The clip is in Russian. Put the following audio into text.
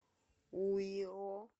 уйо